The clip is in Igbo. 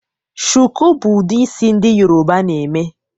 shuku bu udi isi ndi yoruba na eme